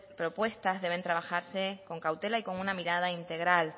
propuestas deben trabajarse con cautela y con una mirada integral